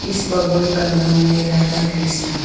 इस भगवान का नाम है राधा कृष्णा।